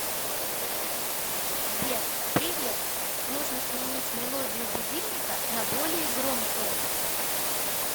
сбер привет нужно сменить мелодию будильника на более громкую